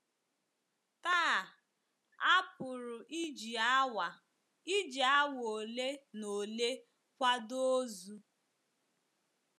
Taa, a pụrụ iji awa iji awa ole na ole kwado ozu.